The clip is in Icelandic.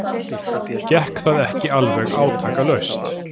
Gekk það ekki alveg átakalaust.